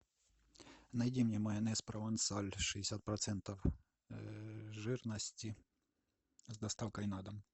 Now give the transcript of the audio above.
найди мне майонез провансаль шестьдесят процентов жирности с доставкой на дом